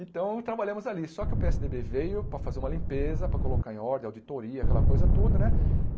Então, trabalhamos ali, só que o Pê ésse Dê Bê veio para fazer uma limpeza, para colocar em ordem auditoria, aquela coisa, tudo, né?